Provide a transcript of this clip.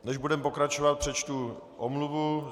Než budeme pokračovat, přečtu omluvu.